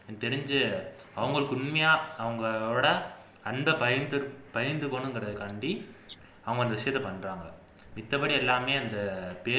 எனக்கு தெரிஞ்சி அவங்களுக்கு உண்மையா அவங்களோட அன்பை பகிந்து பகிந்துக்கனுங்கிறதுக்காண்டி அவங்க இந்த விஷயத்தை பண்றாங்க மித்தபடி எல்லாமே அந்த பேருக்கு